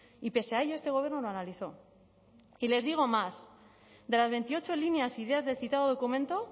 y pese a ello este gobierno lo analizó y les digo más de las veintiocho líneas ideas del citado documento